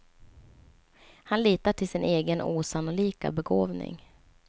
Han litar till sin egen osannolika begåvning.